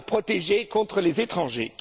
pour nos protéger contre les étrangers.